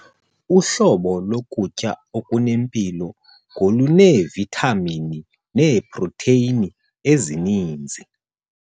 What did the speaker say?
Uhlobo lokutya okunempilo ngoluneevithamini neeprotheyini ezininzi.